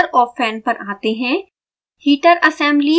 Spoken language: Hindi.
आगे हीटर और फैन पर आते हैं